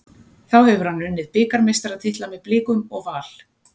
Þá hefur hann unnið bikarmeistaratitla með Blikum og Val.